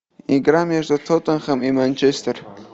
игра между тоттенхэм и манчестер